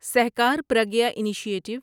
Sahkar Pragya initiative